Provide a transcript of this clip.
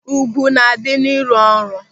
Ùgwù na-adị n'ịrụ ọrụ.